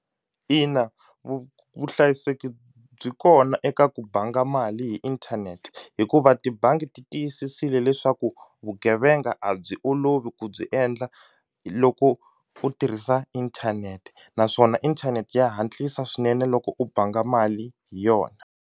Ina vuhlayiseki byi kona eka ku banga mali hi inthanete hikuva tibangi ti tiyisisile leswaku vugevenga a byi olovi ku byi endla loko u tirhisa inthanete naswona internet ya hatlisa swinene loko u banga mali hi yona.